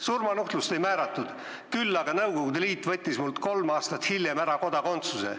Surmanuhtlust ei määratud, küll aga võttis Nõukogude Liit mult kolm aastat hiljem kodakondsuse ära.